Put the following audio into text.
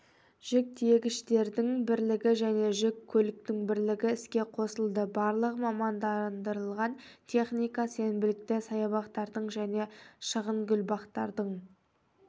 жүк тиегіштердің бірлігі және жүк көліктің бірлігі іске қосылды барлығы мамандандырылған техника сенбілікте саябақтардың және шағынгүлбақтардың